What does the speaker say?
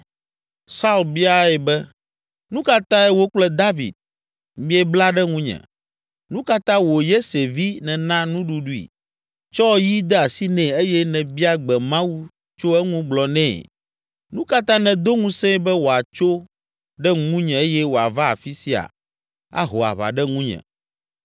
Saul biae be, “Nu ka tae wò kple David, miebla ɖe ŋunye? Nu ka ta wò Yese vi nèna nuɖuɖui, tsɔ yi de asi nɛ eye nèbia gbe Mawu tso eŋu gblɔ nɛ? Nu ka ta nèdo ŋusẽe be wòatso ɖe ŋunye eye wòava afi sia, aho aʋa ɖe ŋunye?”